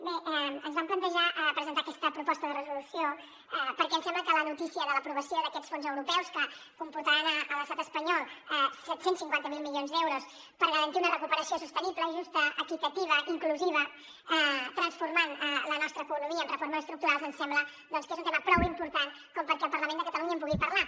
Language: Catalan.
bé ens vam plantejar presentar aquesta proposta de resolució perquè ens sembla que la notícia de l’aprovació d’aquests fons europeus que comportaran a l’estat espanyol set cents i cinquanta miler milions d’euros per garantir una recuperació sostenible justa equitativa i inclusiva transformant la nostra economia amb reformes estructurals ens sembla que és un tema prou important com perquè el parlament de catalunya en pugui parlar